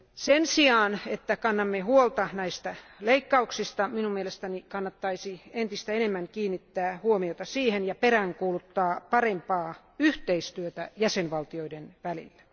Sen sijaan, että kannamme huolta näistä leikkauksista, minun mielestäni kannattaisi entistä enemmän kiinnittää huomiota ja peräänkuuluttaa parempaa yhteistyötä jäsenvaltioiden välillä.